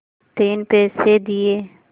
तीन पैसे दिए